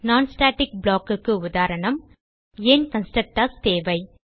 non static blockக்கு உதாரணம் ஏன் கன்ஸ்ட்ரக்டர்ஸ் தேவை